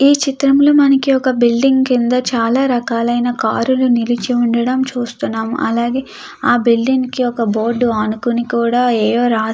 ఈ చిత్రంలో మనకి ఒక బిల్డింగ్ కింద చాలా రకాలైన కార్లు నిలిచి ఉండడం మనం చూస్తున్నాం. అలాగే ఆ బిల్డింగ్ కి ఒక బోర్డు అనుకొని కూడా ఏయో రాసి --